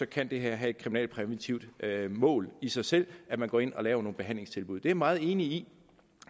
kan det her have et kriminalpræventivt mål i sig selv at man går ind og laver nogle behandlingstilbud det er jeg meget enig i